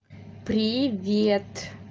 привет